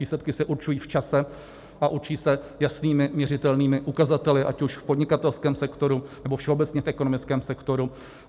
Výsledky se určují v čase a určí se jasnými měřitelnými ukazateli, ať už v podnikatelském sektoru, nebo všeobecně v ekonomickém sektoru.